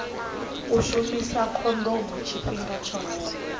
u shumisa khondomo tshifhinga tshoṱhe